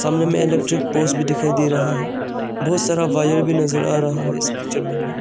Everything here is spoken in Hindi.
सामने में इलेक्ट्रिक पोल्स भी दिखाई दे रहा है बहुत सारा वायर भी नजर आ रहा है इस पिक्चर हमें।